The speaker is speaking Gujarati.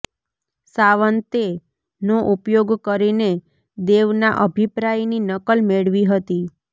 સાવંતે નો ઉપયોગ કરીને દેવના અભિપ્રાયની નકલ મેળવી હતી